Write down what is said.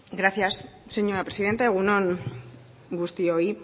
gracias señora presidenta egun on guztioi